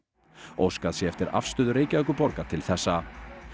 óskað sé eftir afstöðu Reykjavíkurborgar til þessa